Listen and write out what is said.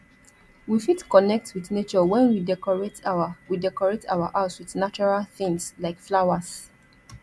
we fit connect with nature when we decorate our we decorate our house with natural things like flowers